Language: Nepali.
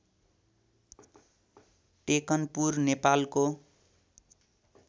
टेकनपुर नेपालको